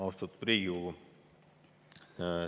Austatud Riigikogu!